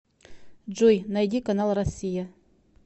джой найди канал россия